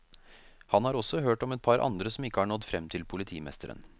Han har også hørt om et par andre som ikke har nådd frem til politimesteren.